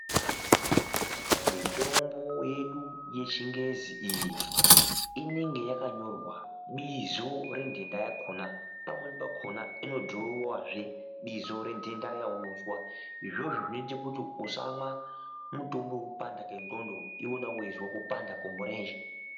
Mitombo yedu yechingezi iyi inenge yakanyorwa bizo rendenda yakona pamweni pamweni pakona inodhirowewa zve bizo rendenda izvozvo zvinoita kuti usamwa mutombo wekupanda kwendxondo iwewe weizwe kupanda kwemirenje.